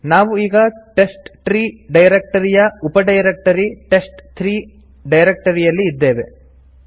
ನಾವು ಈಗ ಟೆಸ್ಟ್ಟ್ರೀ ಡೈರೆಕ್ಟರಿಯ ಉಪಡೈರೆಕ್ಟರಿ ಟೆಸ್ಟ್3 ಡೈರೆಕ್ಟರಿಯಲ್ಲಿ ಇದ್ದೇವೆ